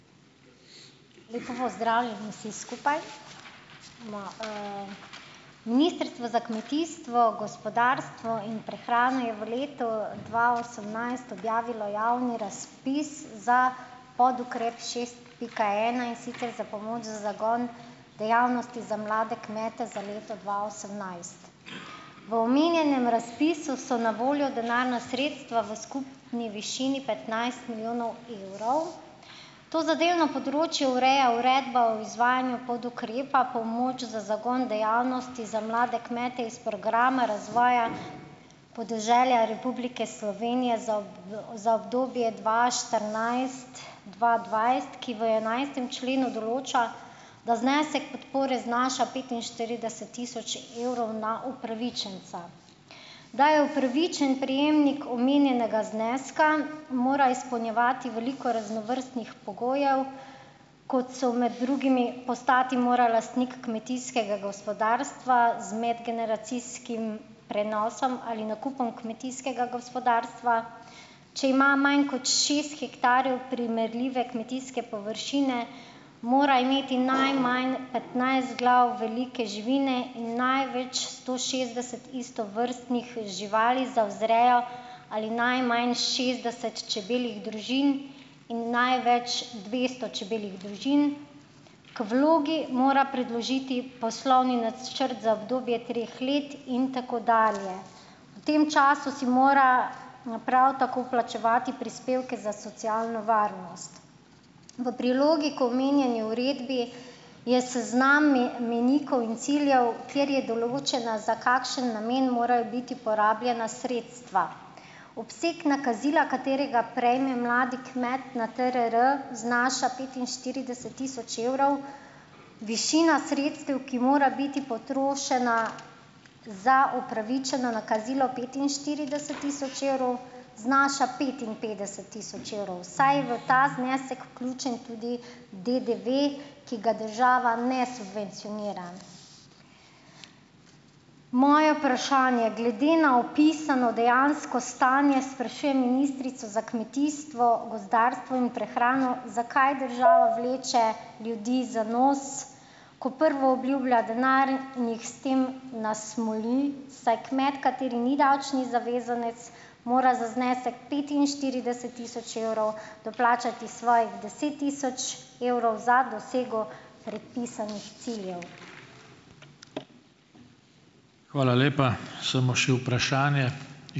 Lepo pozdravljeni vsi skupaj! Ministrstvo za kmetijstvo, gospodarstvo in prehrano je v letu dva osemnajst objavilo javni razpis za podukrep šest pika ena, in sicer za pomoč za zagon dejavnosti za mlade kmete za leto dva osemnajst. V omenjenem razpisu so na voljo denarna sredstva v skupni višini petnajst milijonov evrov. To zadevno področje ureja uredba o izvajanju podukrepa pomoč za zagon dejavnosti za mlade kmete iz programa razvoja podeželja Republike Slovenije za za obdobje dva štirinajst- dva dvajset, ki v enajstem členu določa, da znesek podpore znaša petinštirideset tisoč evrov na upravičenca. Da je upravičen prejemnik omenjenega zneska, mora izpolnjevati veliko raznovrstnih pogojev, kot so med drugimi: postati mora lastnik kmetijskega gospodarstva z medgeneracijskim prenosom ali nakupom kmetijskega gospodarstva. Če ima manj kot šest hektarjev primerljive kmetijske površine, mora imeti najmanj petnajst glav velike živine in največ sto šestdeset istovrstnih živali za vzrejo ali najmanj šestdeset čebeljih družin in največ dvesto čebeljih družin. K vlogi mora predložiti poslovni načrt za obdobje treh let in tako dalje. V tem času si mora naprav tako plačevati prispevke za socialno varnost. V prilogi k omenjeni uredbi je seznam mejnikov in ciljev, kjer je določeno, za kakšen namen morajo biti porabljena sredstva. Obseg nakazila, katerega prejme mladi kmet na TRR znaša petinštirideset tisoč evrov, višina sredstev, ki mora biti potrošena za upravičeno nakazilo petinštirideset tisoč evrov, znaša petinpetdeset tisoč evrov, saj v ta znesek vključen tudi DDV, ki ga država ne subvencionira. Moje vprašanje: Glede na opisano dejansko stanje sprašujem ministrico za kmetijstvo, gozdarstvo in prehrano zakaj država vleče ljudi za nos, ko prvo obljublja denar in jih s tem nasmoli, saj kmet, kateri ni davčni zavezanec, mora za znesek petinštirideset tisoč evrov doplačati svojih deset tisoč evrov za dosego predpisanih ciljev?